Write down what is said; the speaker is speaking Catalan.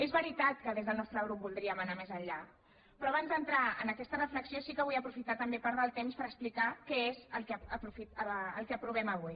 és veritat que des del nostre grup voldríem anar més enllà però abans d’entrar en aquesta reflexió sí que vull aprofitar també part del temps per explicar què és el que aprovem avui